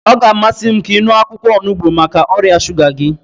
Ọ ga-amasị m ka ị ṅụọ akwụkwọ onugbu maka ọrịa shuga gị.